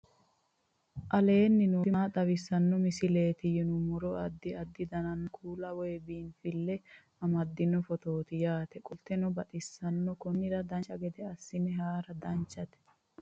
aleenni nooti maa xawisanno misileeti yinummoro addi addi dananna kuula woy biinsille amaddino footooti yaate qoltenno baxissannote konnira dancha gede assine haara danchate